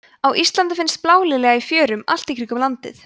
á íslandi finnst blálilja í fjörum allt í kringum landið